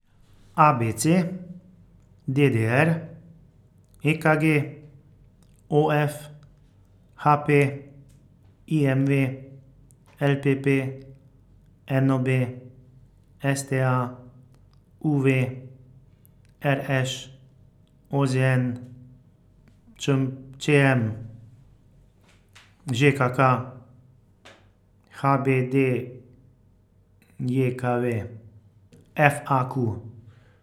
A B C; D D R; E K G; O F; H P; I M V; L P P; N O B; S T A; U V; R Š; O Z N; ČM Č M; Ž K K; H B D J K V; F A Q.